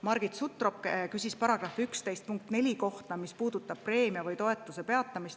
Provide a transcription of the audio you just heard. Margit Sutrop küsis § 11 uue punkti, punkt 4 kohta, mis puudutab preemia või toetuse tagasimaksmist.